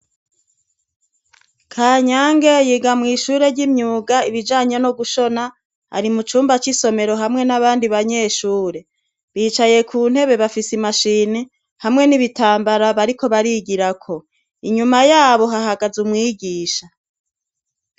Kanyange yiga mw'ishure ry'imyuga ibijanye no gushona, ari mu cumba c'isomero hamwe n'abandi banyeshure, bicaye ku ntebe bafise imashini hamwe n'ibitambara bariko barigirako, inyuma yabo hahagaze umwigisha.